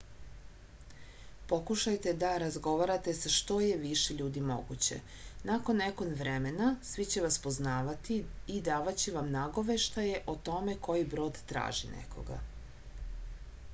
pokušajte da razgovarate sa što je više ljudi moguće nakon nekog vremena svi će vas poznavati i davaće vam nagoveštaje o tome koji brod traži nekoga